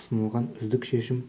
ұсынылған үздік шешім